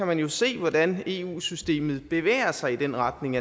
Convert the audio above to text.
man jo se hvordan eu systemet bevæger sig i den retning